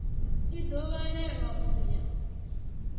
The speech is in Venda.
i ḓo vhalelwa u ya